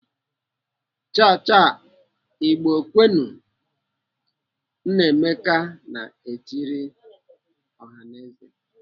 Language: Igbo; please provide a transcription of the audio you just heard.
"Chaa! chaa!! Igbo kwenu! " Nnameka na-etiri ọhaneze.